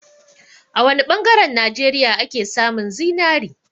A wa ne ɓangaren Najeriya ake samun zinari?